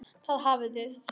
Þar hafið þið það!